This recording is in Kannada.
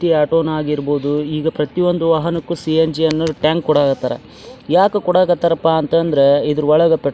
ತಿ ಆಟೋ ನಾಗಿರ್ಬೋದು ಈಗ ಪ್ರತಿ ಒಂದು ವಾಹನಕ್ಕು ಸಿ.ಏನ್.ಜಿ. ಅನ್ನೋ ಟ್ಯಾಂಕ್ ಕೂಡ ಹತ್ತರ ಯಾಕ್ ಕೊಡಕತ್ತರ್ ಅಪ್ಪಾ ಅಂತ್ ಅಂದ್ರ ಇದ್ರೊಳಗ್ ಪ --